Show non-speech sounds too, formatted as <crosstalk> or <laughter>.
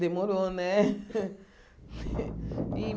Demorou, né? <laughs>